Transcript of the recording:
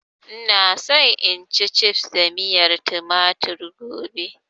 Ina so in ci cifs da miyar tumatir gobe